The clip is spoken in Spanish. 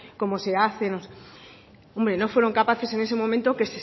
cómo se hace hombre no fueron capaces en ese momento